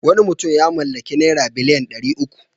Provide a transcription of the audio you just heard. Wani mutum ya mallaki naira biliyan ɗari uku.